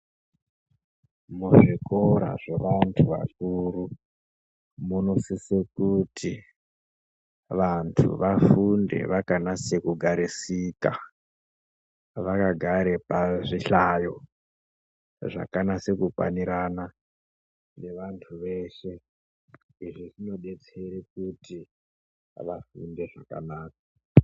Muzvikora zvevantu vakuru munosisa kuti vantu vafunde vakanasa kugarisika vakagara pazvihlayo zvakanasa kukwanirana nevantu veshe. Izvi zvinodetsera kuti vafunde zvakanaka.